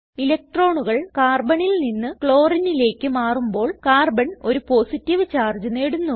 ഇലക്ട്രോണുകൾ Carbonൽ നിന്ന് Chlorineലേക്ക് മാറുമ്പോൾ കാർബൺ ഒരു പോസിറ്റീവ് ചാർജ് നേടുന്നു